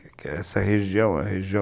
Essa região, é região